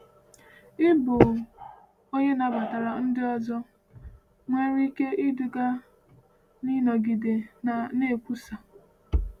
Ịbụ onye nabatara ndị ọzọ nwere ike iduga n’ịnọgide na-ekwusa.